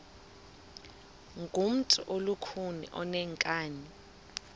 ngumntu olukhuni oneenkani